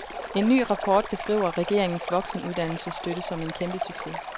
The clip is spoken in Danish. En ny rapport beskriver regeringens voksenuddannelsesstøtte som en kæmpe succes.